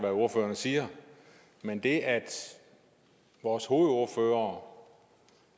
hvad ordførerne siger men det at vores hovedordfører